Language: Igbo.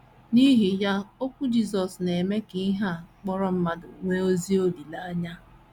N’ihi ya okwu Jisọs na - eme ka ihe a kpọrọ mmadụ nwee ezi olileanya.